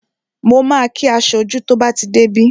Mo ma kí aṣojú tí ó bá ti dé bí